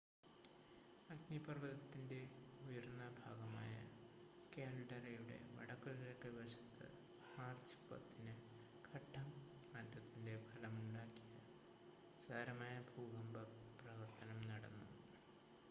അഗ്നിപർവ്വതത്തിൻ്റെ ഉയർന്ന ഭാഗമായ കാൽഡെറയുടെ വടക്കുകിഴക്ക് വശത്ത് മാർച്ച് 10-ന് ഘട്ടം മാറ്റത്തിൻ്റെ ഫലമുണ്ടാക്കിയ സാരമായ ഭൂകമ്പ പ്രവർത്തനം നടന്നു